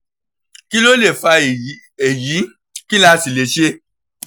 kí ló lè fa èyí èyí kí la sì lè ṣe?